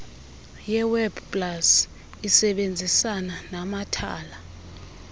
yewebpals isebenzisana namathala